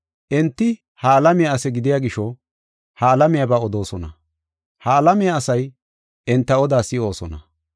Enti ha alamiya ase gidiya gisho, ha alamiyaba odoosona; ha alamiya asay enta odaa si7oosona.